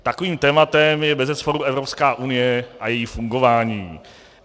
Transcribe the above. Takovým tématem je bezesporu Evropská unie a její fungování.